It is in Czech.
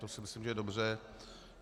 To si myslím, že je dobře.